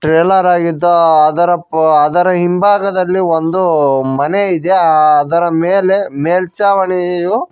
trailer ಆಗಿತ್ತು ಅದರ ಪ ಅದರ ಹಿಂಭಾಗದಲ್ಲಿ ಒಂದು ಮನೆ ಇದೆ ಆ ಅದರ ಮೇಲೆ ಮೇಲ್ಚಾವಣಿಯು --